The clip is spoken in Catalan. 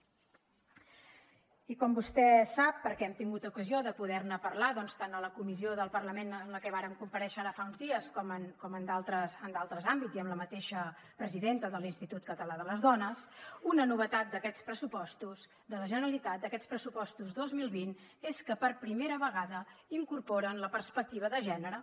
i com vostè sap perquè hem tingut ocasió de poder ne parlar tant a la comissió del parlament en la que vàrem comparèixer ara fa uns dies com en d’altres àmbits i amb la mateixa presidenta de l’institut català de les dones una novetat d’aquests pressupostos de la generalitat d’aquests pressupostos dos mil vint és que per primera vegada incorporen la perspectiva de gènere